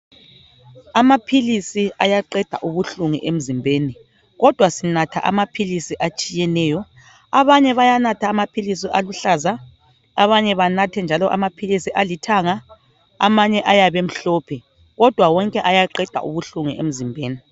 Amaphilisi ayaqeda ubuhlungu emzimbeni, kodwa sinatha amaphilisi atshiyeneyo, abanye bayanatha amaphilisi aluhlaza, abanye banathe njalo amaphilisi alithanga, amanye ayabe emhlophe, kodwa wonke ayaqeda ubuhlungu emzimbeni.